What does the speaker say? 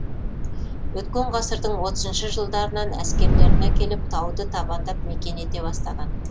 өткен ғасырдың отызыншы жылдарынан әскерлерін әкеліп тауды табандап мекен ете бастаған